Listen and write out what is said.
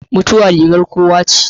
Mutuwa rigar kowa ce.